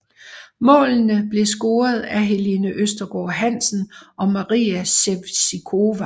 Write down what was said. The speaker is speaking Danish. Målene blev scoret af Helene Østergaard Hansen og Maria Sevcikova